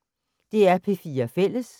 DR P4 Fælles